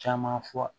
Caman fɔ